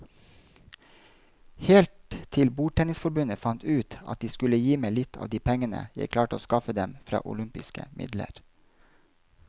Helt til bordtennisforbundet fant ut at de skulle gi meg litt av de pengene jeg klarte å skaffe dem fra olympiske midler.